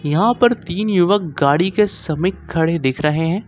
यहां पर तीन युवक गाड़ी के समीप खड़े दिख रहे हैं।